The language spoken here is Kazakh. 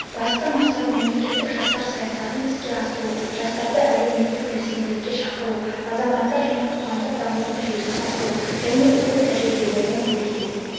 басты мақсат мемлекеттік жастар саясатын іске асыру жастарды әлеуметтік белсенділікке шақыру азаматтық және қоғамдық дамудың желісін құру және үздік тәжірибелермен бөлісу